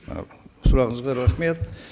ы сұрағыңызға рахмет